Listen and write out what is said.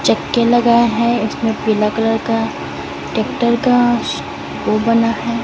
चक्के लगाए है इसमें पीला कलर का ट्रैक्टर का वो बना है।